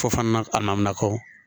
Fo fana a namina kɔ